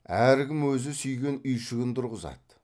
әркім өзі сүйген үйшігін тұрғызады